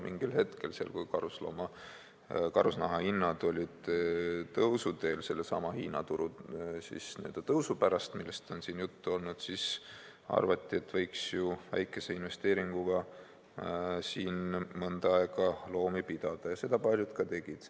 Mingil hetkel, kui karusnaha hinnad olid tõusuteel sellesama Hiina turu tõusu pärast, millest on siin juttu olnud, arvati, et võiks ju väikese investeeringuga siin mõnda aega loomi pidada, ja seda paljud ka tegid.